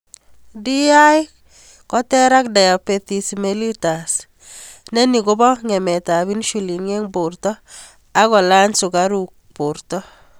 DI ko ter ak Diabetes Melitus ne ni ko po ngemet ap insulin ing porto ak kolanysukaruk ing porto.